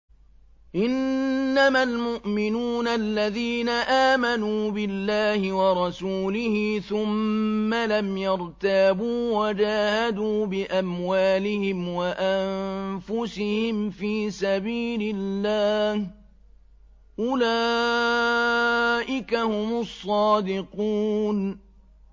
إِنَّمَا الْمُؤْمِنُونَ الَّذِينَ آمَنُوا بِاللَّهِ وَرَسُولِهِ ثُمَّ لَمْ يَرْتَابُوا وَجَاهَدُوا بِأَمْوَالِهِمْ وَأَنفُسِهِمْ فِي سَبِيلِ اللَّهِ ۚ أُولَٰئِكَ هُمُ الصَّادِقُونَ